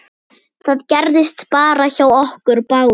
Það gerðist hjá okkur báðum.